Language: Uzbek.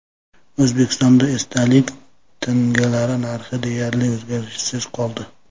O‘zbekistonda esdalik tangalar narxi deyarli o‘zgarishsiz qoldi.